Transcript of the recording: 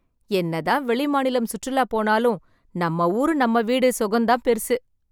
என்னதான் வெளி மாநிலம் சுற்றுலா போனாலும், நம்ம ஊரு நம்ம வீடு சுகம் தான் பெரிசு.